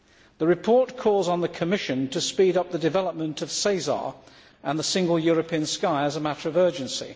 The report calls on the Commission to speed up the development of SESAR and the single European sky as a matter of urgency.